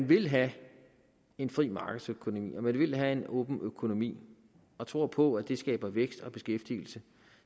vil have en fri markedsøkonomi og man vil have en åben økonomi og tror på at det skaber vækst og beskæftigelse